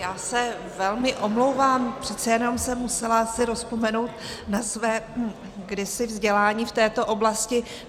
Já se velmi omlouvám, přece jenom jsem se musela rozpomenout na své kdysi vzdělání v této oblasti.